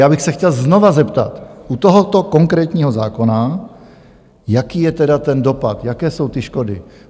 Já bych se chtěl znovu zeptat u tohoto konkrétního zákona, jaký je tedy ten dopad, jaké jsou ty škody?